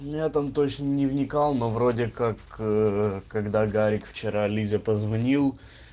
нет он точно не вникал но вроде как ээ когда гарик вчера лизе позвонил